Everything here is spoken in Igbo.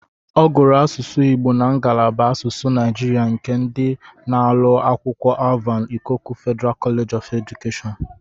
Ọ gụrụ asụsụ Igbo na ngalaba asụsụ Naijiria nke dị na ụlọ akwụkwọ Alvan Ikoku Federal College of Education.